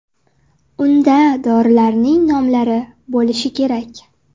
Unda dorilarning nomlari bo‘lishi kerak.